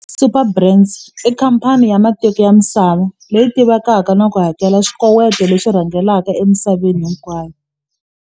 Superbrands i khamphani ya matiko ya misava leyi tivekaka na ku hakela swikoweto leswi rhangelaka emisaveni hinkwayo.